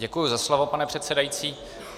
Děkuji za slovo, pane předsedající.